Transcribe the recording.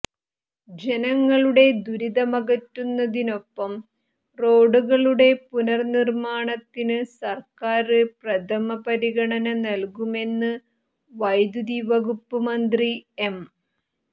ജനങ്ങളുടെ ദുരിതമകറ്റുന്നിതനൊപ്പം റോഡുകളുടെ പുനര്നിര്മാണത്തിന് സര്ക്കാര് പ്രഥമ പരിഗണന നല്കുമെന്ന് വൈദ്യുതി വകുപ്പ് മന്ത്രി എം